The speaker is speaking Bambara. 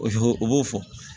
O o b'o fɔ